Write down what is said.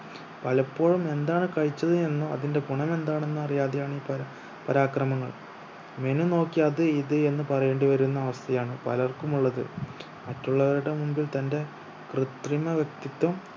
പലപ്പോഴും എന്താണ് കഴിച്ചത് എന്നോ അതിന്റെ ഗുണം എന്താണെന്ന് അറിയാതെ ആണ് പരാ പരാക്രമങ്ങൾ menu നോക്കി അത് ഇത് എന്ന് പറയേണ്ടി വരുന്ന അവസ്ഥ ആണ് പലർക്കും ഉള്ളത് മറ്റുള്ളവരുടെ മുമ്പിൽ തന്റെ കൃത്രിമ വ്യക്തിത്വം